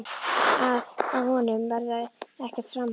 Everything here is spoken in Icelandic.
Að af honum verði ekkert framhald.